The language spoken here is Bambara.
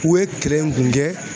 U ye kɛlɛ in kun kɛ